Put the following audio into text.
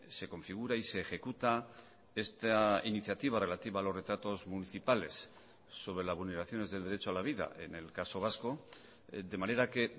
se configura y se ejecuta esta iniciativa relativa a los retratos municipales sobre las vulneraciones del derecho a la vida en el caso vasco de manera que